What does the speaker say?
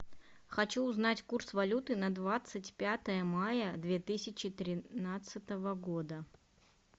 хочу узнать курс валюты на двадцать пятое мая две тысячи тринадцатого года